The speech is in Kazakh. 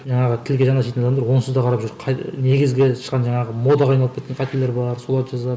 жаңағы тілге жан ашитын адамдар онсыз да қарап жүр қай негізгі шыққан жаңағы модаға айналып кеткен қателер бар соларды жазады